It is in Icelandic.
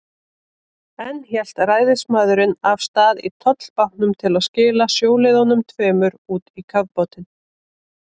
Enn hélt ræðismaðurinn af stað í tollbátnum til að skila sjóliðunum tveimur út í kafbátinn.